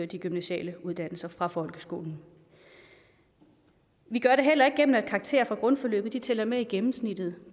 de gymnasiale uddannelser fra folkeskolen vi gør det heller ikke gennem at karakterer fra grundforløbet tæller med i gennemsnittet